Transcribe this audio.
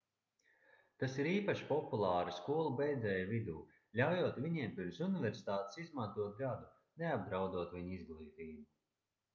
tas ir īpaši populāri skolu beidzēju vidū ļaujot viņiem pirms universitātes izmantot gadu neapdraudot viņu izglītību